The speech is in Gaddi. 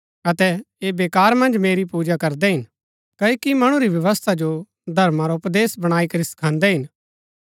अतै ऐह बेकार मन्ज मेरी पूजा करदै हिन क्ओकि मणु री व्यवस्था जो धर्मा रा उपदेश बणाई करी सखादैं हिन